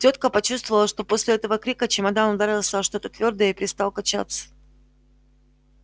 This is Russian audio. тётка почувствовала что после этого крика чемодан ударился о что-то твёрдое и перестал качаться